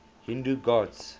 hindu gods